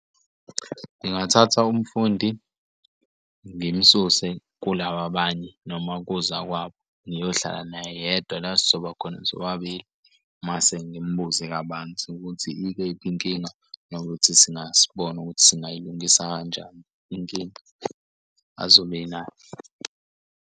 Ngingathatha umfundi ngim'suse kulaba abanye, noma kozakwabo ngiyohlala naye yedwa la esizoba khona sobabili. Mase ngimbuze kabanzi ukuthi ikephi inkinga nokuthi singasibone ukuthi singayilungisa kanjani inkinga azobe enayo.